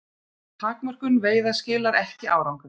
Takmörkun veiða skilar ekki árangri